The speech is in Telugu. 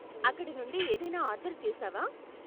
అక్కడ నుండి ఏదైనా ఆర్డరు చేశావా?